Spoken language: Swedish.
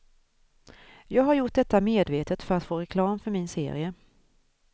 Jag har gjort detta medvetet för att få reklam för min serie.